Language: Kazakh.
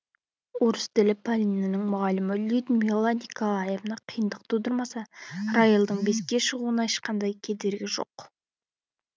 орыс тілі пәнінің мұғалімі людмила николаевна қиындық тудырмаса райлдың беске шығуына ешқандай кедергі жоқ